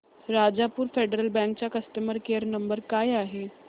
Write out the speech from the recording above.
Rajapur federal bank चा customer care number काय आहे